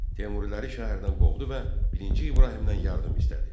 Teymuriləri şəhərdən qovdu və birinci İbrahimdən yardım istədi.